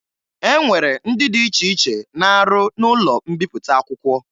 E nwere ndị dị iche iche na-arụ n'ụlọ mbipụta akwụkwọ